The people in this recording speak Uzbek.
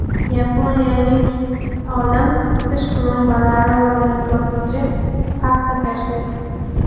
Yaponiyalik olim tish plombalari o‘rnini bosuvchi pasta kashf etdi.